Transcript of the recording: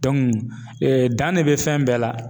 dan ne bɛ fɛn bɛɛ la.